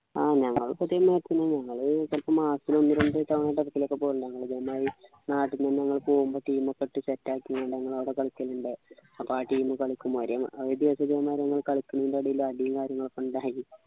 ആഹ് ഞങ്ങള് ക്കെ team maximum ഞങ്ങള് ഇപ്പൊ മാസത്തിൽ ഒന്ന് രണ്ടു തവണ റ്റൊക്കെ ചിലപ്പോലൊക്കെ പോകലുണ്ട് അതിനിടക്ക് നമ്മള് നാട്ടിൽ നു നമ്മള് പോകുമ്പോ team ഒക്കെ ഇട്ടു set ആക്കി അവിടെ കളിക്കേണ്ട അപ്പൊ ആ team കളിക്ക് ഒരേ മ ഇത് ന്നു പറയുന്നത് കളിക്കുനതിൻ്റെ ഇടയില് അടീം കാര്യങ്ങളൊക്കെ ഉണ്ടായി